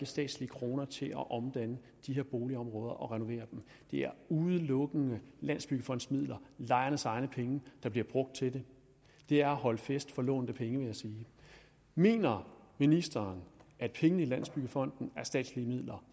statslige kroner til at omdanne de her boligområder og renovere dem det er udelukkende landsbyggefondens midler lejernes egne penge der bliver brugt til det det er at holde fest for lånte penge vil jeg sige mener ministeren at pengene i landsbyggefonden er statslige midler